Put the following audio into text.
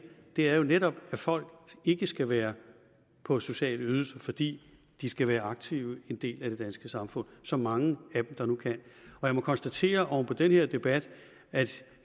det er jo netop at folk ikke skal være på sociale ydelser fordi de skal være aktive en del af det danske samfund så mange dem der nu kan jeg må konstatere oven på den her debat at